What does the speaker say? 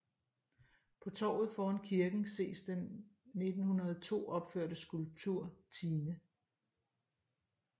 På torvet foran kirken ses den 1902 opførte skulptur Tine